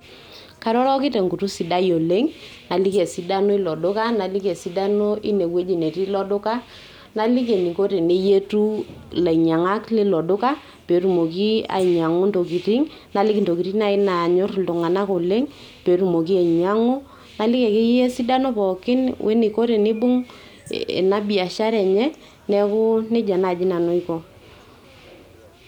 Kairoroki tenkutuk sidai oleng', naliki esidano ilo duka, naliki esidano inewueji netii ilo duka, naliki eniko peyie eyietu ilainy'iang'ak lilo duka pee etumoki ainy'iang'u intokitin, naliki intokitin naai naany'orr iltung'anak oleng' pee etumoki ainy'iang'u naliki akeyie esidano pookin oeniko tenibung' ena biashara enye, neeku nijia naaji nanu aiko.